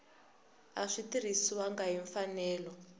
a swi tirhisiwangi hi mfanelo